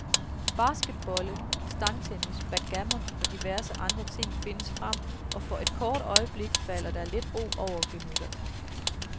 Basketbolde, stangtennis, backgammon og diverse andre ting findes frem, og for et kort øjeblik falder der lidt ro over gemytterne.